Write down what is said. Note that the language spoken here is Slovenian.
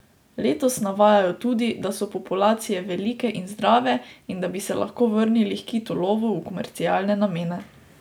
Letos navajajo tudi, da so populacije velike in zdrave in da bi se lahko vrnili h kitolovu v komercialne namene.